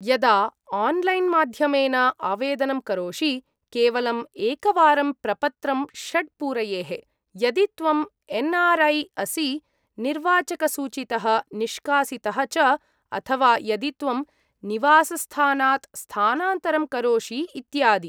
यदा आन्लैन्माध्यमेन आवेदनं करोषि, केवलम् एकवारं प्रपत्रं षड् पूरयेः, यदि त्वं एन् आर् ऐ असि, निर्वाचकसूचीतः निष्कासितः च, अथवा यदि त्वं निवासस्थानात् स्थानान्तरं करोषि इत्यादि।